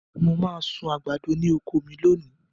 Mo máa sun àgbàdo ní oko mi lónìí.